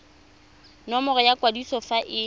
nomoro ya kwadiso fa e